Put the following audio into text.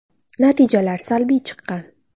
Natijalar salbiy chiqqan.